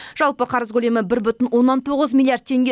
жалпы қарыз көлемі бір бүтін оннан тоғыз миллиард теңге